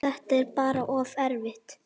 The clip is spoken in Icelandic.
Þetta er bara of erfitt.